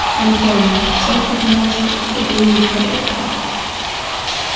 антон шеф признал что поступил некорректно